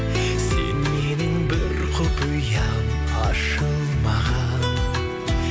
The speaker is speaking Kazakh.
сен менің бір құпиям ашылмаған